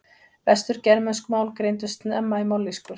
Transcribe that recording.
Vestur-germönsk mál greindust snemma í mállýskur.